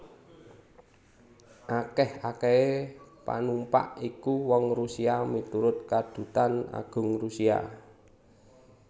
Akèh akèhé panumpak iku wong Rusia miturut Kadutan Agung Rusia